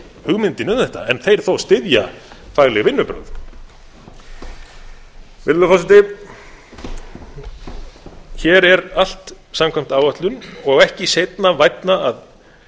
hugmyndinni um þetta en þeir þó styðja fagleg vinnubrögð virðulegi forseti hér er allt samkvæmt áætlun og ekki seinna vænna að